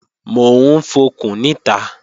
Mò ń fọkùn níta